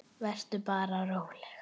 Vertu bara róleg.